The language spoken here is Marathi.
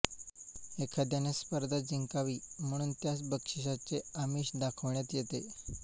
एखाद्याने स्पर्धा जिंकावी म्हणुन त्यास बक्षिसाचे आमिष दाखविण्यात येते